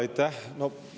Aitäh!